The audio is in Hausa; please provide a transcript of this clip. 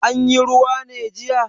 Anyi ruwa ne jiya?